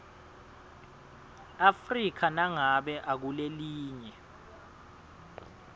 afrika nangabe ukulelinye